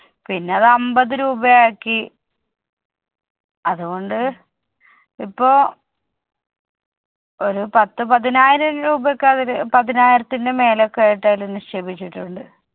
പിന്ന അത് അമ്പത് രൂപ ആക്കി. അതുകൊണ്ട് ഇപ്പോ ഒരു പത്ത്‌ പതിനായിരം രൂപയൊക്കെ അവര് പതിനായിരത്തിന്റെ മേലെയൊക്കെ ആയിട്ട് നിക്ഷേപിച്ചിട്ടുണ്ട്.